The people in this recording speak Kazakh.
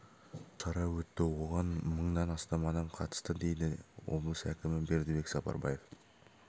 ішінде мыңға жуық шара өтті оған мыңнан астам адам қатысты дейді облыс әкімі бердібек сапарбаев